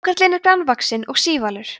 hákarlinn er grannvaxinn og sívalur